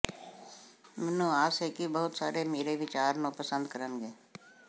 ਮੈਨੂੰ ਆਸ ਹੈ ਕਿ ਬਹੁਤ ਸਾਰੇ ਮੇਰੇ ਵਿਚਾਰ ਨੂੰ ਪਸੰਦ ਕਰਨਗੇ